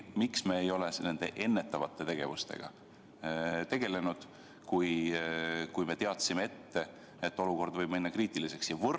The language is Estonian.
Miks me ei ole ennetava tegevusega tegelenud, kui me teadsime ette, et olukord võib minna kriitiliseks?